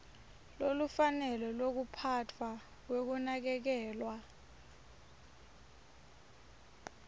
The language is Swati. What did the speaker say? lolufanele lwekuphatfwa kwekunakekelwa